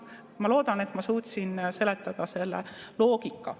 Ma loodan, et ma suutsin seletada seda loogikat.